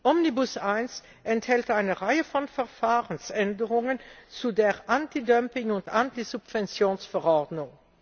Omnibus I enthält eine Reihe von Verfahrensänderungen zur Anti Dumping und Anti Subventions Verordnung.